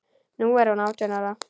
Nú er hún átján ára.